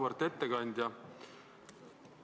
Auväärt ettekandja!